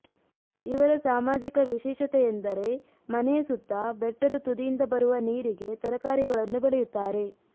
ಇವರ ಸಾಮಾಜಿಕ ವಿಶೇಷತೆ ಎಂದರೆ ಮನೆಯ ಸುತ್ತ ಬೆಟ್ಟದ ತುದಿಯಿಂದ ಬರುವ ನೀರಿಗೆ ತರಕಾರಿಗಳನ್ನು ಬೆಳೆಯುತ್ತಾರೆ